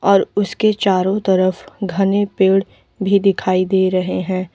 और उसके चारों तरफ घने पेड़ भी दिखाई दे रहे हैं।